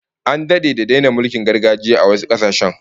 An dade da daina mulkin gargajiya a wasu kasashen